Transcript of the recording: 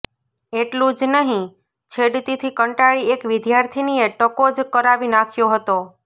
એટલું જ નહીં છેડતીથી કંટાળી એક વિદ્યાર્થિનીએ ટકો જ કરાવી નાખ્યો હતો